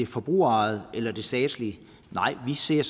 forbrugerejede eller det statslige nej vi ser